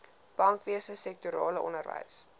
bankwese sektorale onderwys